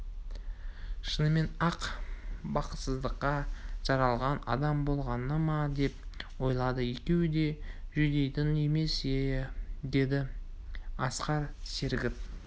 шынымен-ақ бақытсыздыққа жаралған адам болғаны ма деп ойлады екеуі де жүдейтін емес ие деді асқар серігіп